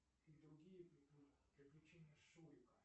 и другие приключения шурика